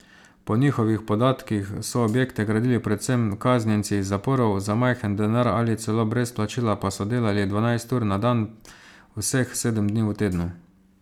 Po njihovih podatkih so objekte gradili predvsem kaznjenci iz zaporov, za majhen denar ali celo brez plačila pa so delali dvanajst ur na dan vseh sedem dni v tednu.